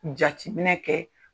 Jatiminɛ kɛ